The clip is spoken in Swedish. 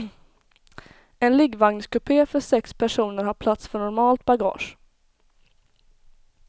En liggvagnskupé för sex personer har plats för normalt bagage.